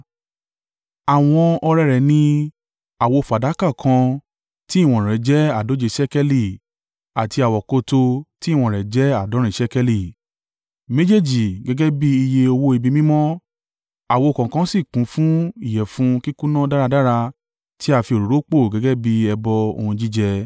Àwọn ọrẹ rẹ̀ ni: àwo fàdákà kan tí ìwọ̀n rẹ̀ jẹ́ àádóje ṣékélì àti àwokòtò tí ìwọ̀n rẹ̀ jẹ́ àádọ́rin ṣékélì, méjèèjì gẹ́gẹ́ bí iye owó ibi mímọ́, àwo kọ̀ọ̀kan sì kún fún ìyẹ̀fun kíkúnná dáradára tí á fi òróró pò gẹ́gẹ́ bí ẹbọ ohun jíjẹ;